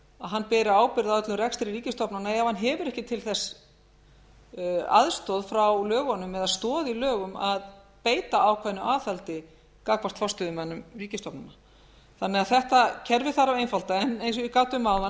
hann beri ábyrgð á öllum rekstri ríkisstofnana ef hann hefur ekki til þess aðstoð frá lögunum eða stoð í lögum að beita ákveðnu aðhaldi gagnvart forstöðumönnum ríkisstofnana þetta kerfi þarf því að einfalda en eins og ég gat um áðan